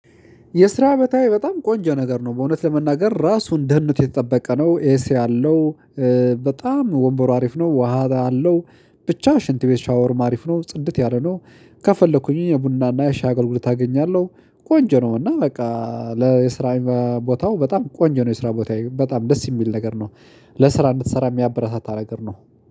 የስራ ቦታዬ በጣም ቆንጆ ነገር ነው በእውነት ለመናገር ራሱን ደህንነቱ የተጠበቀ ነው ኤሲ አለው። በጣም ወንበሩ አሪፍ ነው ውሃ አለው። ብቻ ሽንት ቤት ሻወርም አሪፍ ነው ጽድት ያለ ነው። ከፈለኩኝ የቡና እና የሻይ አገልግሎት አገኛለሁ። ቆንጆ ነው እና በቃ ለየስራ ቦታው በጣም ቆንጆ ነው። የስራ ቦታዬ በጣም ደስ የሚል ነገር ነው። ለስራ እንድትሰራ የሚያበረታታ ነገር ነው።